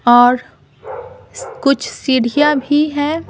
और कुछ सीढ़ियां भी है ।